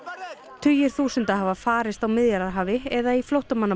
tugir þúsunda hafa farist á Miðjarðarhafi eða í flóttamannabúðum